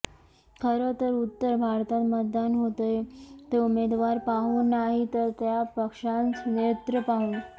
खरं तर उत्तर भारतात मतदान होतंय ते उमेदवार पाहून नाही तर त्या पक्षाचं नेतृत्व पाहून